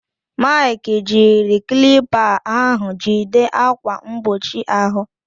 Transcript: Maịkị jiri klipa ahụ jide ákwà mgbochi ahụ.